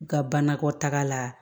U ka banakɔtaga la